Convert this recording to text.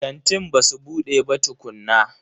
Kantin basu bude ba tukunna.